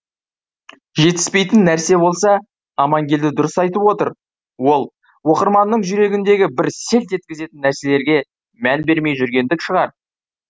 жетіспейтін нәрсе болса амангелді дұрыс айтып отыр ол оқырманның жүрегіндегі бір селт еткізетін нәрселерге мән бермей жүргендік шығар